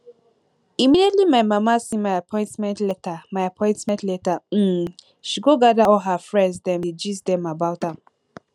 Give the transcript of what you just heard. immediately my mama see my appointment letter my appointment letter um she go gather all her friends dem dey gist dem about am